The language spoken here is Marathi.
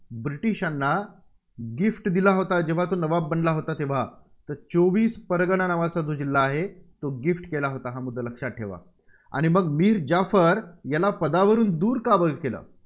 ब्रिटिशांना Gift दिला होता, जेव्हा तो नवाब बनला होता तेव्हा? तर चौवीस परगणा नावाचा जो जिल्हा आहे, तो gift केला होता. हा मुद्दा लक्षात ठेवा. आणि मग मीर जाफर याला पदावरून दूर का केलं?